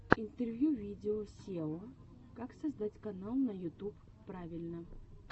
интервью видео сео как создать канал на ютуб правильно